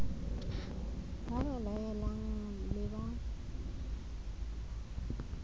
ba ba laelang le ba